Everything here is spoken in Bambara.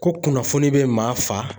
Ko kunnafoni be maa fa